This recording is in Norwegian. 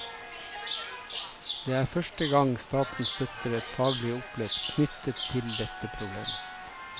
Det er første gang staten støtter et faglig opplegg knyttet til dette problemet.